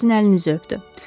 O sizin əlinizi öpdü.